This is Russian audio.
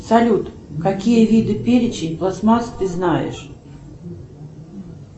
салют какие виды перечень пластмасс ты знаешь